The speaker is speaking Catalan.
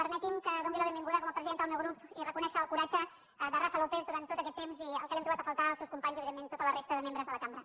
permeti’m que doni la benvinguda com a presidenta del meu grup i reconèixer el coratge de rafa lópez durant tot aquest temps i que l’hem trobat a faltar el seus companys i evidentment tota la resta de membres de la cambra